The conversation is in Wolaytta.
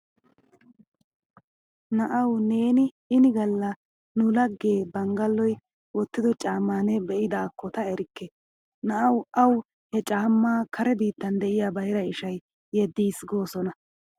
Na'awu neeni ini galla nu lagge Banggalloy wottido caammaa ne be'idaakko ta erikke. Na'awu awu he caammaa kare biittan diya bayra ishay yeddiis goosona.